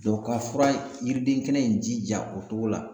ka fura in yiriden kɛnɛ in jija o cogo la